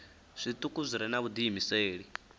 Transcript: zwituku zwi re na vhudiimeseli